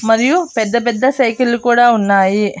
మరియు పెద్ద పెద్ద సైకిల్లు కూడా ఉన్నాయి.